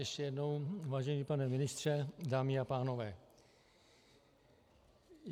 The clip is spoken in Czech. Ještě jednou, vážený pane ministře, dámy a pánové.